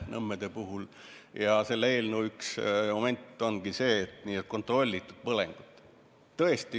Ja nõmmede puhul ongi olulised selles eelnõus ette nähtud kontrollitud põlengud.